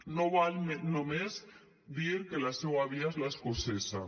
no val només dir que la seua via és l’escocesa